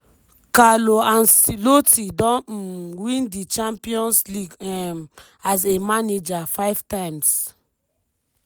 carlo ancelotti don um win di champions league um as a manager five times.